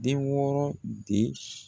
Den wɔɔrɔ de